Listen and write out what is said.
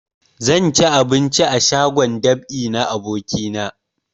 Zan ci abinci a shagon dab'i na abokina